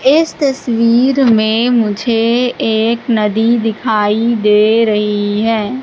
इस तस्वीर में मुझे एक नदी दिखाई दे रही है।